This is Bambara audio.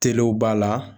Telew b'a la